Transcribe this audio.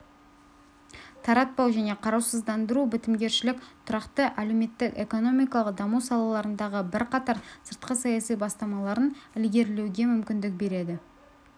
таратпау және қарусыздану бітімгершілік тұрақты әлеуметтік-экономикалық даму салаларындағы бірқатар сыртқы саяси бастамаларын ілгерілетуге мүмкіндік береді